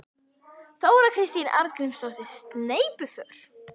Þóra Kristín Arngrímsdóttir: Sneypuför?